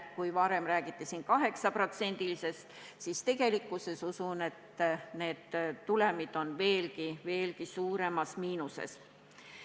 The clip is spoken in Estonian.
Kui varem räägiti 8%-lisest langusest, siis tegelikkuses võib tulem olla veelgi suuremas miinuses.